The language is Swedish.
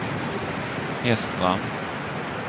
Hestra